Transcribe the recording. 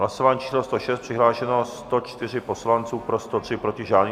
Hlasování číslo 106, přihlášeno 104 poslanců, pro 103, proti žádný.